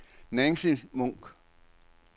Nancy Munk